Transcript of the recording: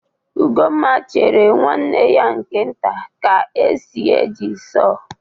Ugomma chere nwanne ya nke nta ka esi eji saw.